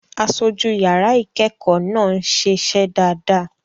Aṣojú yàrá ìkẹ́kọ̀ọ́ náà ń ṣiṣẹ́ dáadáa.